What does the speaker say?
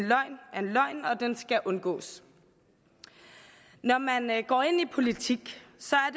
løgn og den skal undgås når man går ind i politik